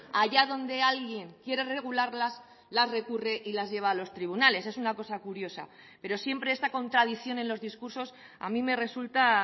allá donde alguien quiere regularlas las recurre y las lleva a los tribunales es una cosa curiosa pero siempre esta contradicción en los discursos a mi me resulta